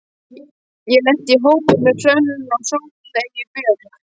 Ég lenti í hópi með Hrönn og Sóleyju Björk.